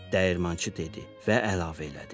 dəyirmançı dedi və əlavə elədi.